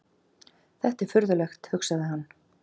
Þetta er furðulegt, hugsaði hann.